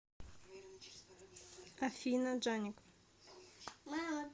афина джаник